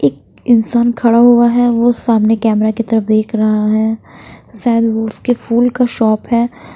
एक इंसान खड़ा हुआ है वो सामने कैमरा की तरफ देख रहा है शायद उसके फूल का शॉप है।